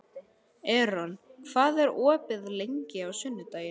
Eron, hvað er opið lengi á sunnudaginn?